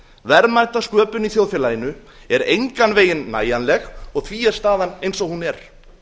verðmætasköpun í þjóðfélaginu er engan veginn nægjanleg því er staðan eins og hún er